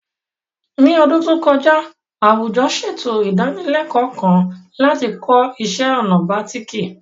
Ní ọdún tó kọjá, àwùjọ ṣètò ìdánilẹ́kọ̀ọ́ kan láti kọ́ iṣẹ́ ọnà bàtíìkì